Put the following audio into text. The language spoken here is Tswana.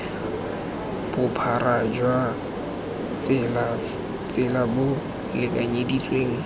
bophara jwa tsela bo lekanyeditsweng